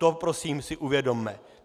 To si prosím uvědomme.